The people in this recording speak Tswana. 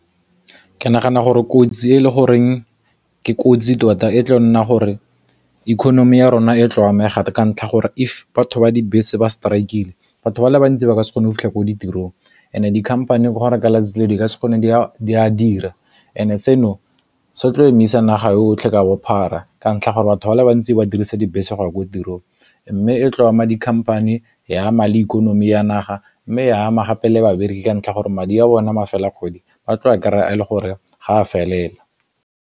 Ke nagana gore kotsi e le goreng ke kotsi tota e tlo go nna gore economy ya rona e tlo amega ka ntlha gore if batho ba dibese ba strik-ile batho ba le bantsi ba ka se kgone go fitlha ko ditirong, and dikhamphane e gore ka lone letsatsi le o di ka se kgone di ka dira, and seno sotla emisa naga otlhe ka bophara ka ntlha gore batho ba le bantsi ba dirisa dibese go ya ko tirong, mme e tlo ema dikhamphane, ya ama le ikonomi ya naga, mme e ama gape le babereki ka ntlha gore madi a bona mafelo a kgwedi batlo kry-a le gore ga a felela.